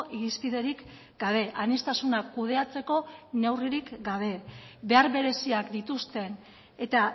irizpiderik gabe aniztasuna kudeatzeko neurririk gabe behar bereziak dituzten eta